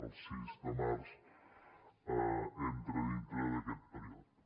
el sis de març entra dintre d’aquest període